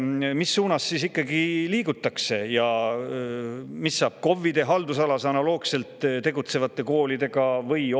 Mis suunas siis ikkagi liigutakse ja mis saab KOV-ide haldusalas analoogselt tegutsevatest koolidest?